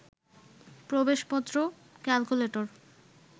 প্রবেশপত্র, calculator